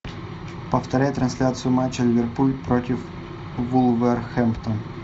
повторяй трансляцию матча ливерпуль против вулверхэмптон